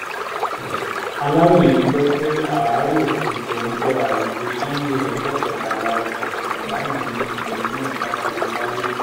aláròye gbọ́ pé àárò kùtù ọjọ́ àìkú sànńdé ọjọ́ kẹtàlá oṣù kọkànlá yìí ni obìnrin náà dágbére fáyé